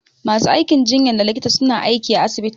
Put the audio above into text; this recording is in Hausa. Ma su aikin jinyan da likita suna aiki à asibiti.